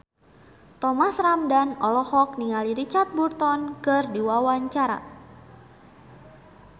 Thomas Ramdhan olohok ningali Richard Burton keur diwawancara